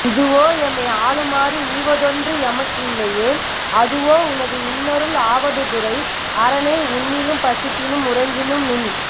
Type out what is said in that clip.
இதுவோ எமை ஆளுமாறு ஈவதொன்று எமக்கு இல்லையேல் அதுவோ உனது இன்னருள் ஆவடுதுறை அரனே உண்ணிலும் பசிப்பினும் உறங்கினும் நின்